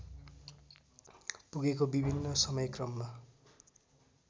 पुगेको विभिन्न समयक्रममा